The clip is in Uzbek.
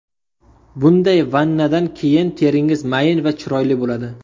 Bunday vannadan keyin teringiz mayin va chiroyli bo‘ladi.